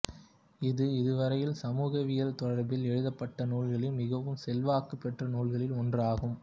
இது இதுவரையில் சமூகவியல் தொடர்பில் எழுதப்பட்ட நூல்களில் மிகவும் செல்வாக்குப் பெற்ற நூல்களில் ஒன்று ஆகும்